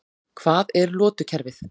Hvað er lotukerfið?